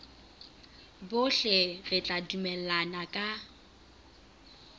bohle re tla dumellana ka